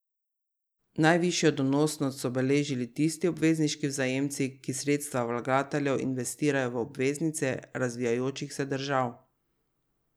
Najvišjo donosnost so beležili tisti obvezniški vzajemci, ki sredstva vlagateljev investirajo v obveznice razvijajočih se držav.